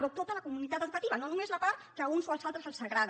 però tota la comunitat educativa no només la part que a uns o als altres els agrada